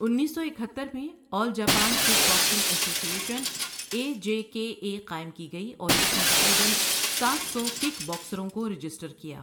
انیس سو اکہتر میں all Japan kick boxing association A J K A قائم کی گئی اور اس نے تقریباً سات سو کِک باکسروں کو رجسٹر کیا ۔